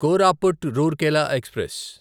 Koraput Rourkela express